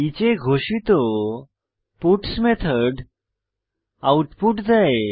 each এ ঘোষিত parts method output দেয়